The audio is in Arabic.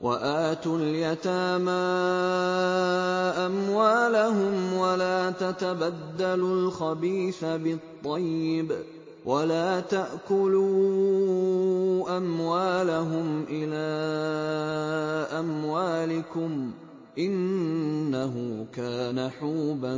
وَآتُوا الْيَتَامَىٰ أَمْوَالَهُمْ ۖ وَلَا تَتَبَدَّلُوا الْخَبِيثَ بِالطَّيِّبِ ۖ وَلَا تَأْكُلُوا أَمْوَالَهُمْ إِلَىٰ أَمْوَالِكُمْ ۚ إِنَّهُ كَانَ حُوبًا